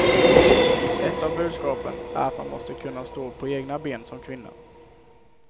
Ett av budskapen är att man måste kunna stå på egna ben som kvinna.